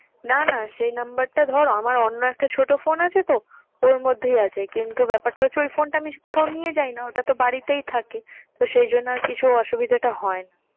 না না সেই number টা ধর আমার অন্য একটা ছোট phone আছে তো ওর মধ্যেই আছে কিন্তু ব্যাপারটা হচ্ছে ওই phone টা কোথাও নিয়ে যাই না ওটাতো বাড়িতেই থাকে। তো সেই জন্যই আরকি এসব অসুবিধাটা হয় না।